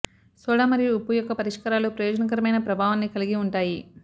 soda మరియు ఉప్పు యొక్క పరిష్కారాలు ప్రయోజనకరమైన ప్రభావాన్ని కలిగి ఉంటాయి